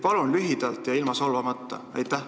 Palun lühidalt ja ilma solvamata!